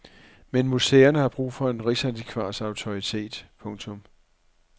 Men museerne har brug for en rigsantikvars autoritet. punktum